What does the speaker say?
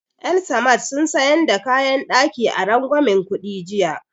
El-samad sun sayan da kayan ɗaki a rangwamen kuɗi jiya